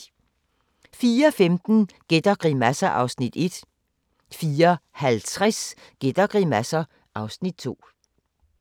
04:15: Gæt og grimasser (Afs. 1) 04:50: Gæt og grimasser (Afs. 2)